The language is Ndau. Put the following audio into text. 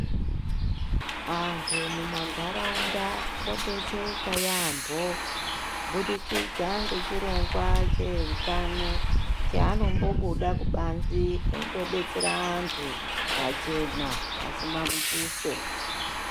Antu mumandaraunda odetsereka yampho kubudikidza nechirongwa cheutano chaanombobuda kubanze endodetsera antu pachena pasina mutuso.